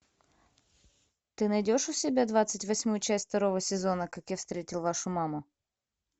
ты найдешь у себя двадцать восьмую часть второго сезона как я встретил вашу маму